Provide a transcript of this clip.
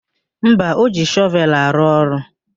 Mba, o ji shọvelụ arụ ọrụ.